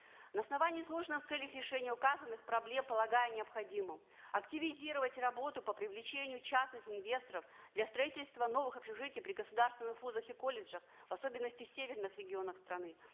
на основании изложенного в целях решения указанных проблем полагаю необходимым активизировать работы по привлечению частных инвесторов для строительства новых общежитий при государственных вузах и колледжах в особенности в северных регионах страны